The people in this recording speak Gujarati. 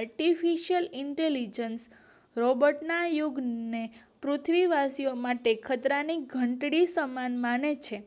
artificial intelligent રોબોર્ટ ના યુગ ને પૃથ્વી વાસીઓ માટે ખતરાની ધંટડી સમાન મને છે